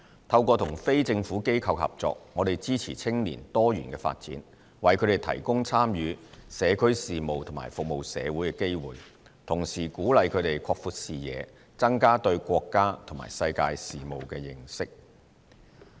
透過與非政府機構合作，我們支持青年多元發展，為他們提供參與社區事務和服務社會的機會，同時鼓勵他們擴闊視野，增加對國家和世界事務的認識。